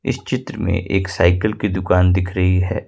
इस चित्र में एक साइकिल की दुकान दिख रही है।